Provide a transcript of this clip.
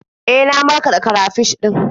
E, na markaɗa karafish ɗin.